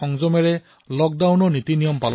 লকডাউনৰ নিয়ম পালন কৰিছে